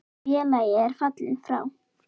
Félagi er fallinn frá.